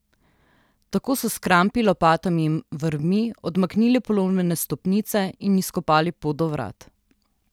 Tako so s krampi, lopatami in vrvmi odmaknili polomljene stopnice in izkopali pot do vrat.